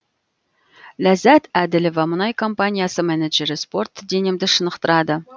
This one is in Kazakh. ләззат әділова мұнай компаниясы менеджері спорт денемді шынықтырады